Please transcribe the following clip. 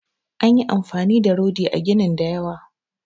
An yi amfani da rodi a ginin da yawa